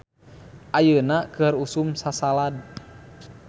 "Ayeuna keur usum sasalad "